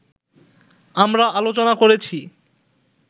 আমরা আলোচনা করেছি